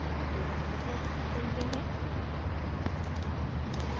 दोबारा text चुनते हैं